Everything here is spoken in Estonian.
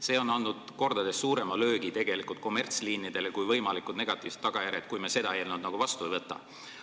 See on andnud mitu korda suurema löögi kommertsliinidele, kui on võimalikud negatiivsed tagajärjed, juhul kui me seda eelnõu vastu ei võta.